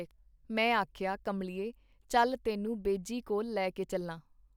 ਮੈਂ ਆਖਿਆ ਕਮਲੀਏ ਚੱਲ ਤੈਨੂੰ ਬੇਜੀ ਕੋਲ ਲੈ ਕੇ ਚੱਲਾਂ.